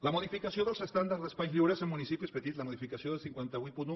la modificació dels estàndards d’espais lliures en municipis petits la modificació del cinc cents i vuitanta un